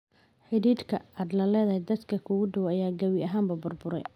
Xidhiidhka aad la leedahay dadka kuugu dhow ayaa gabi ahaanba burburay.''